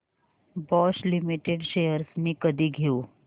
Bosch Limited shares मी कधी घेऊ